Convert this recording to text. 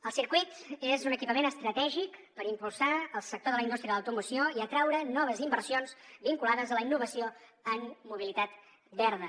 el circuit és un equipament estratègic per impulsar el sector de la indústria de l’automoció i atraure noves inversions vinculades a la innovació en mobilitat verda